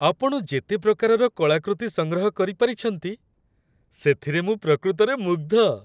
ଆପଣ ଯେତେ ପ୍ରକାରର କଳାକୃତି ସଂଗ୍ରହ କରିପାରିଛନ୍ତି, ସେଥିରେ ମୁଁ ପ୍ରକୃତରେ ମୁଗ୍ଧ।